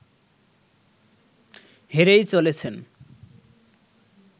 হেরেই চলেছেন